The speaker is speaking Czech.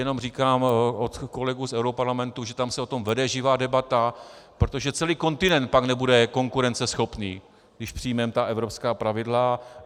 Jenom říkám od kolegů z europarlamentu, že tam se o tom vede živá debata, protože celý kontinent pak nebude konkurenceschopný, když přijmeme ta evropská pravidla.